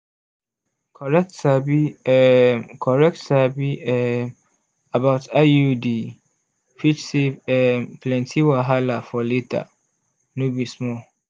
correct sabi um correct sabi um about iud fit save um plenty wahala for later no be small